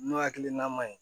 N'o hakilina man ɲi